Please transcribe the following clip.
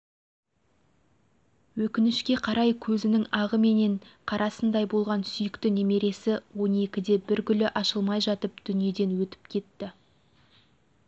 өкінішке қарай көзінің ағы менен қарасындай болған сүйікті немересі он екіде бір гүлі ашылмай жатып дүниеден өтіп кетті